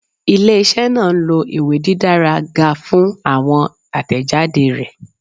Ile-iṣẹ naa nlo iwe didara ga fun awọn atẹjade rẹ